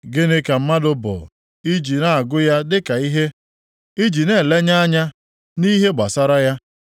“Gịnị ka mmadụ bụ i ji na-agụ ya dịka ihe, i ji na-elenye anya nʼihe gbasara ya,